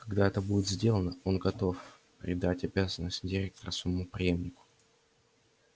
когда это будет сделано он готов передать обязанности директора своему преемнику